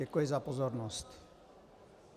Děkuji za pozornost.